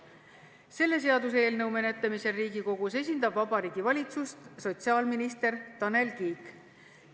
Selle seaduseelnõu menetlemisel Riigikogus esindab Vabariigi Valitsust sotsiaalminister Tanel Kiik.